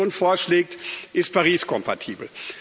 Was die Kommission vorschlägt, ist Paris kompatibel.